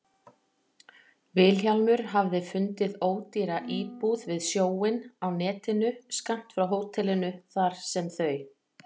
Vilhjálmur hafði fundið ódýra íbúð við sjóinn á netinu, skammt frá hótelinu þar sem þau